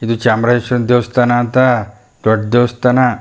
ಇದು ಚಾಮರೇಶ್ವರನ ದೇವಸ್ಥಾನ ಅಂತ ದೊಡ್ಡ್ ದೇವಸ್ಥಾನ.